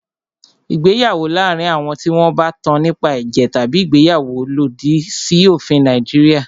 Ìgbéyàwó láàárín àwọn tí wọn bá tán nípa ẹ̀jẹ̀ tabi ìgbéyàwó lòdì sí òfin Nàìjíríà.